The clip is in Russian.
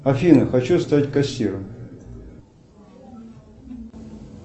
афина хочу стать кассиром